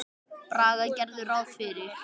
Braga gerðu ráð fyrir.